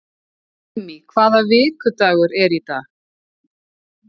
Immý, hvaða vikudagur er í dag?